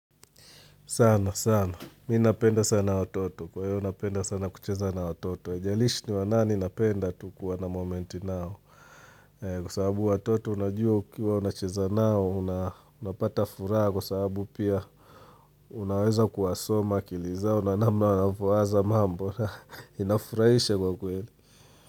Sana, sana. Mi napenda sana ototo. Kwa hiyo, napenda sana kucheza na watoto. Haijalishi ni wa nani napenda tu kuwa na moment nao. Kwa sababu watoto unajua ukiwa unacheza nao, unapata furaha kwa sababu pia unaweza kuwasoma akili zao na namna wanavyowaza mambo na inafurahisha kwa kweli.